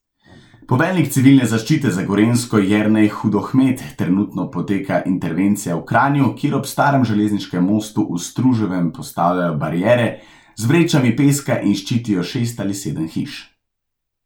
Poveljnik Civilne zaščite za Gorenjsko Jernej Hudohmet, trenutno poteka intervencija v Kranju, kjer ob starem železniškem mostu v Struževem postavljajo bariere z vrečami peska in ščitijo šest ali sedem hiš.